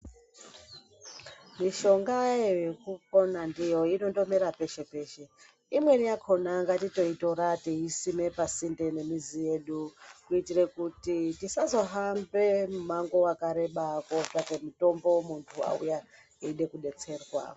Mishongayo yekupona ndiyo inondomera peshe-peshe. Imweni yakona ngatitoitora teiisime pasinde pamizi yedu. Kuitire kuti tisazohambe mimango wakareba kootsvake mutombo muntu auya eide kudetserwa.